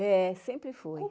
É, sempre foi.